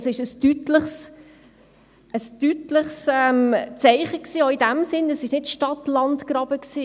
Es war ein deutliches Zeichen auch in dem Sinne, dass es kein Stadt-LandGraben war.